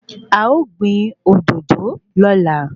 A o gbìn òdòdó lóla